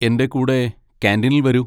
എന്റെ കൂടെ കാന്റീനിൽ വരൂ.